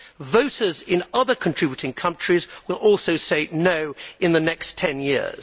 Voters in other contributing countries will also say no' in the next 10 years.